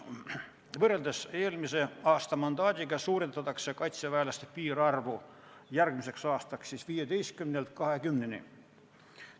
Võrreldes eelmise aasta mandaadiga suurendatakse kaitseväelaste piirarvu järgmiseks aastaks siis 15-lt 20-ni.